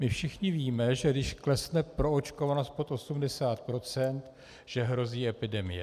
My všichni víme, že když klesne proočkovanost pod 80 %, hrozí epidemie.